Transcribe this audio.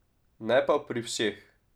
Ne pa pri vseh.